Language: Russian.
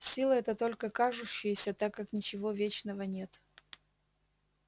сила эта только кажущаяся так как ничего вечного нет